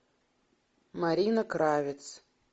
марина кравец